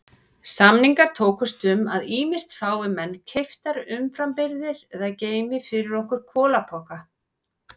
Samningar tókust um að ýmist fái menn keyptar umframbirgðir eða geymi fyrir okkur kolapoka.